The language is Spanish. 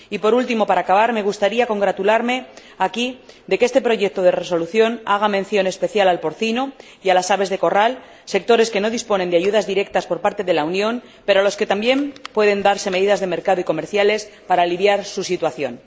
Y por último, para acabar, me gustaría congratularme aquí de que este proyecto de resolución haga mención especial del porcino y de las aves de corral, sectores que no disponen de ayudas directas de la Unión, pero para los que también pueden preverse medidas de mercado y comerciales para aliviar su situación.